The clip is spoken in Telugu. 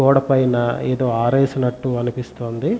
గొడ్డ పైన ఏదో ఆరేసినట్టు అనిపిస్తుంది.